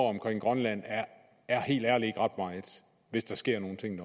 omkring grønland er helt ærligt ikke ret meget hvis der sker nogle ting